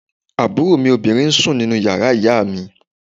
Àbúrò mi obìnrin ń sùn nínú yàrá ìyá mi